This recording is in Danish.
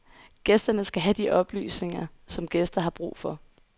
Gæsterne skal have de oplysninger, som gæster har brug for.